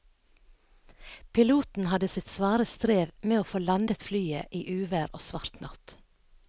Piloten hadde sitt svare strev med å få landet flyet i uvær og svart natt.